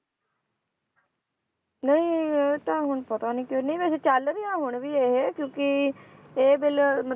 ਨਹੀਂ ਇਹ ਤਾਂ ਹੁਣ ਪਤਾ ਨੀ ਤੇ ਨਹੀਂ ਵੈਸੇ ਚੱਲ ਰਿਹਾ ਹੁਣ ਵੀ ਇਹ ਕਿਉਂਕਿ ਇਹ ਬਿੱਲ